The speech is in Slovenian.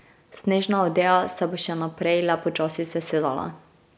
Snežna odeja se bo še naprej le počasi sesedala.